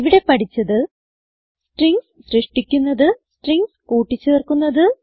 ഇവിടെ പഠിച്ചത് സ്ട്രിംഗ്സ് സൃഷ്ടിക്കുന്നത് സ്ട്രിംഗ്സ് കൂട്ടി ചേർക്കുന്നത്